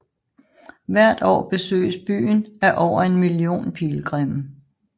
Hvert år besøges byen af over en million pilgrimme